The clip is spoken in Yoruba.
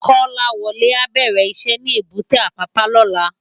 Kolawole á bèrè iṣè ni ébùté Apapa lòlá